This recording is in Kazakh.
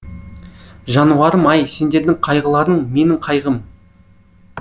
жануарым ай сендердің қайғыларың менің қайғым